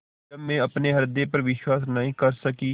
जब मैं अपने हृदय पर विश्वास नहीं कर सकी